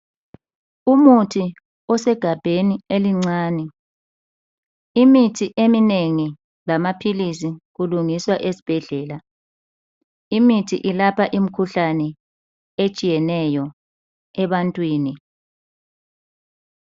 Umuthi osegabheni elincane. Imithi eminengi lamaphilisi kulungiswa esibhedlela. Imithi ilapha imikhuhlane etshiyeneyo ebantwini.